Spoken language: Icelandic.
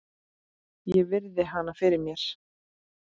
Ég virði hana fyrir mér.